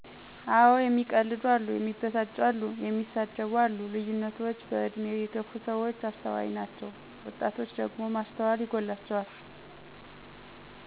አወ እሚቀልዱ አሉ፣ እሚበሳጩ አሉ፣ እንደሳደብ አሉ ልዩነቶች በእድሜ የገፍ ሰዎች አስተዋይ ናችው ወጣቶች ደግሞ ማስተዋል ይጎላቸዋል።